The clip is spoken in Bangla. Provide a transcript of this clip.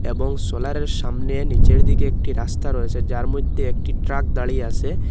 সোলার -এর সামনে নীচের দিকে একটি রাস্তা রয়েছে যার মধ্যে একটি ট্রাক দাঁড়িয়ে আসে।